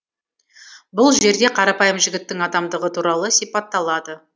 бұл жерде қарапайым жігіттің адамдығы туралы сипатталады